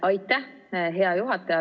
Aitäh, hea juhataja!